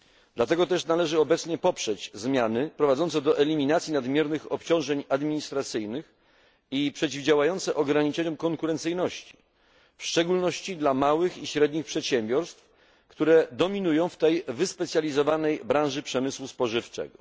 Dlatego też należy obecnie poprzeć zmiany prowadzące do eliminacji nadmiernych obciążeń administracyjnych i przeciwdziałające ograniczeniom konkurencyjności, w szczególności dla małych i średnich przedsiębiorstw, które dominują w tej wyspecjalizowanej branży przemysłu spożywczego.